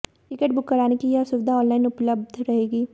ticket book कराने की यह सुविधा ऑनलाइन उपलब्ध रहेगी